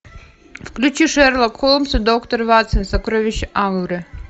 включи шерлок холмс и доктор ватсон сокровища агры